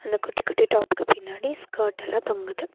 அந்த குட்டி குட்டி டாப்க்கு பின்னாடி ஸ்கர்டெல்லா தொங்குது.